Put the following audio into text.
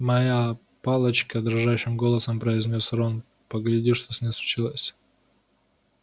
моя палочка дрожащим голосом произнёс рон погляди что с ней случилось